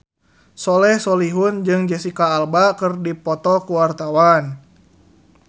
Soleh Solihun jeung Jesicca Alba keur dipoto ku wartawan